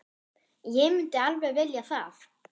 En myndi alveg vilja það.